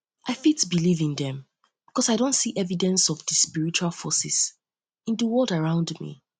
i fit believe in dem because i don see di evidence of di spiritual forces in di world around me